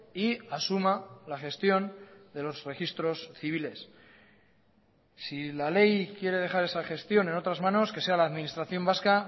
y asuma la gestión de los registros civiles si la ley quiere dejar esa gestión en otras manos que sea la administración vasca